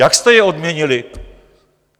Jak jste je odměnili?